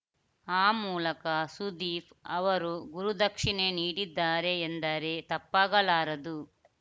ಆ ಮೂಲಕ ಸುದೀಪ್‌ ಅವರು ಗುರುದಕ್ಷಿಣೆ ನೀಡಿದ್ದಾರೆ ಎಂದರೆ ತಪ್ಪಾಗಲಾರದು